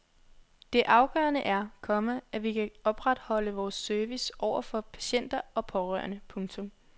Det afgørende er, komma at vi kan opretholde vores service over for patienter og pårørende. punktum